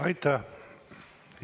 Aitäh!